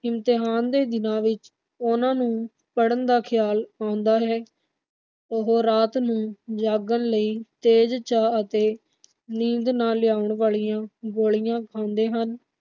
ਇਮਤਿਹਾਨ ਦੇ ਦਿਨਾਂ ਵਿਚ ਉਨ੍ਹਾਂ ਨੂੰ ਪੜਨ ਦਾ ਖਿਆਲ ਆਉਦਾ ਹੈ। ਉਹ ਰਾਤ ਨੂੰ ਜਾਗਣ ਲਈ ਤੇਜ ਚਾਹ ਤੇ ਨੀਂਦ ਨਾ ਆਉਣ ਵਾਲੀਆਂ ਗੋਲੀਆਂ ਖਾਂਦੇ ਹਨ